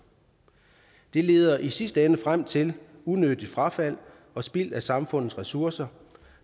det leder i sidste ende frem til unødigt frafald og spild af samfundets ressourcer